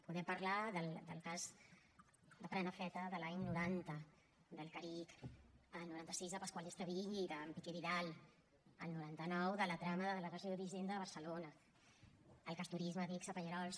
podem parlar del cas de prenafeta de l’any noventa del caric el noventa seis de pascual estevill i d’en piqué vidal el noventa nueve de la trama de la delegació d’hisenda a barcelona el cas turisme adigsa pallerols